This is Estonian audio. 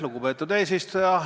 Lugupeetud eesistuja!